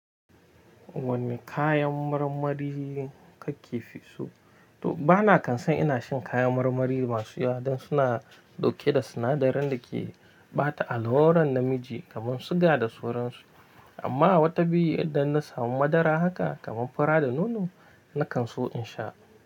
Wane kayan marmari kake fi so? To bana kan son ina cin kayan marmari masu yawa dan suna ɗauke da sinadarin da ke bata allurar namiji kamar suga da sauransu. Amma wata biyu idan na samu madara haka kamar fura da nono, na kan so in sha.